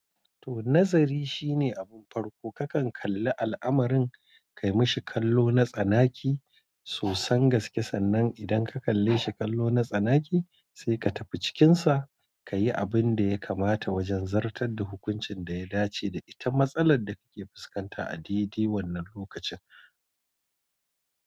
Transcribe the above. To, nazari shine abun farko kakan kalli al'amarin, ka yi mashi kallo na tsanaki sosan gaskiya sannan idan ka kalle shi kallo na tsanaki sai ka tafi cikinsa ka yi abin da ya kamata wajen zartar da hukuncin da ya dace da ita. Matsalar da kake fuskanta a daidai wannan lokacin.